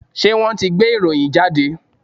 Ṣé wọ́n ti gbé ìròyìn jáde?